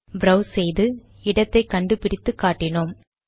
browse செய்து இடத்தை கண்டு பிடித்து காட்டினோம்